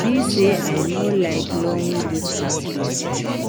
be say I no like long distance relationship